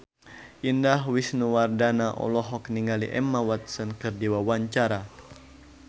Indah Wisnuwardana olohok ningali Emma Watson keur diwawancara